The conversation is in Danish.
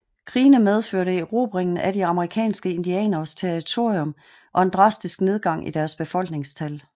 Krigene medførte erobringen af de amerikanske indianeres territorium og en drastisk nedgang i deres befolkningstal